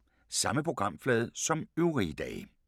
Samme programflade som øvrige dage